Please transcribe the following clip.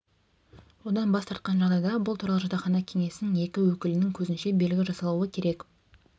одан бас тартқан жағдайда бұл туралы жатақхана кеңесінің екі өкілінің көзінше белгі жасалуы керек